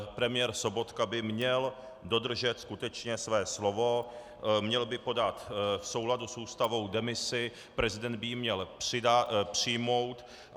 Premiér Sobotka by měl dodržet skutečně své slovo, měl by podat v souladu s Ústavou demisi, prezident by ji měl přijmout.